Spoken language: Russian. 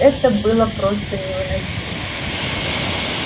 это было просто невыносимо